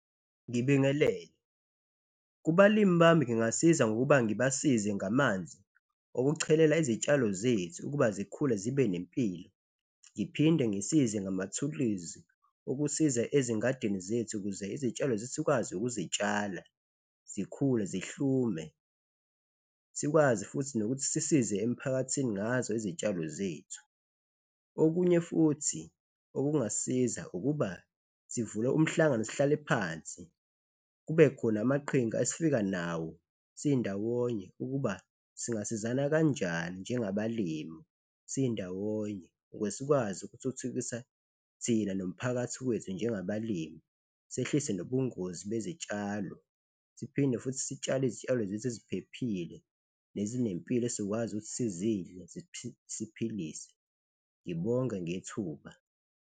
Ngibingelele, kubalimi bami ngingasiza ngokuba ngibasize ngamanzi okuchelela izitshalo zethu ukuba zikhule zibe nempilo ngiphinde ngisize ngamathuluzi okusiza ezingadini zethu ukuze izitshalo zethu sikwazi ukuzitshala zikhule zihlume sikwazi futhi nokuthi sisize emphakathini ngazo izitshalo zethu. Okunye futhi okungasisiza ukuba sivule umhlangano sihlale phansi, kubekhona amaqhinga esifika nawo sindawonye ukuba singasizakala kanjani njengabalimi sindawonye ukuze sikwazi ukuthuthukisa thina nomphakathi wethu njengabalimi, sehlise nobungozi bezitshalo siphinde futhi sitshale izitshalo zethu eziphephile nezinempilo esizokwazi ukuthi sizidle siphilise, ngibonge ngethuba